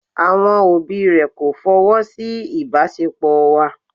Àwọn òbí rẹ̀ kò fọwọ́ sí ìbáṣepọ̀ wa.